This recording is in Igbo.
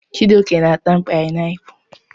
Chijioke na-ata painiapulu.